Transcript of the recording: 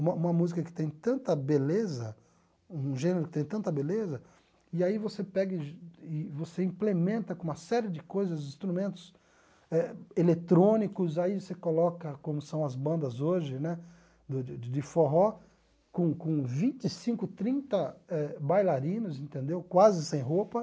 Uma uma música que tem tanta beleza, um gênero que tem tanta beleza, e aí você pega e você implementa com uma série de coisas, instrumentos eletrônicos, aí você coloca, como são as bandas hoje né, de de forró, com com vinte e cinco, trinta eh bailarinos entendeu, quase sem roupa.